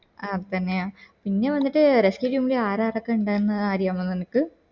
അതെന്നെയാ പിന്നെ വന്നിട്ട് rescue team ല് അറന്നൊക്കെ ഇണ്ടായെ അറിയാമോ നിനക്ക്